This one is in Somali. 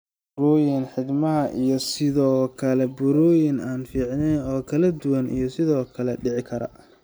Burooyin xiidmaha iyo sidoo kale burooyin aan fiicneyn oo kala duwan ayaa sidoo kale dhici kara.